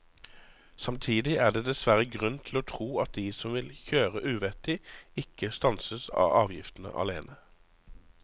Samtidig er det dessverre grunn til å tro at de som vil kjøre uvettig, ikke stanses av avgiftene alene.